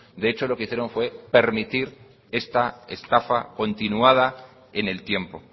de hecho lo que hicieron fue permitir esta estafacontinuada en el tiempo